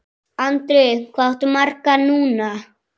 Andri: Hvað áttu marga núna?